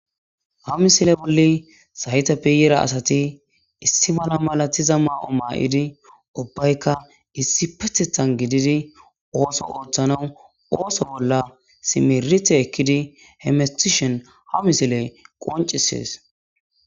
Ha misile bolli sayytappe yera asati issi mala malatiza maa'o maa7idi ubbaykka issi pethethan gididi ooso ooththanau ooso bolla simerite ekkidi hemistishen ha misile qoncisees